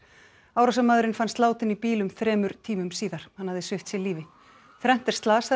árásarmaðurinn fannst látinn í bíl um þremur tímum síðar hann hafði svipt sig lífi þrennt er slasað